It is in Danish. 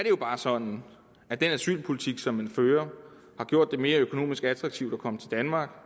jo bare sådan at den asylpolitik som man fører har gjort det mere økonomisk attraktivt at komme til danmark